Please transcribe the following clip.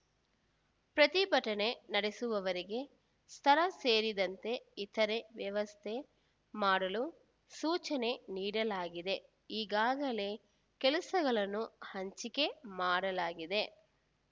ಪ್ರತಿಭಟನೆ ನಡೆಸುವವರಿಗೆ ಸ್ಥಳ ಸೇರಿದಂತೆ ಇತರೆ ವ್ಯವಸ್ಥೆ ಮಾಡಲು ಸೂಚನೆ ನೀಡಲಾಗಿದೆ ಈಗಾಗಲೇ ಕೆಲಸಗಳನ್ನು ಹಂಚಿಕೆ ಮಾಡಲಾಗಿದೆ